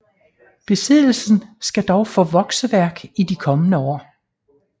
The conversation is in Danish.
Besiddelsen skal dog få vokseværk i de kommen år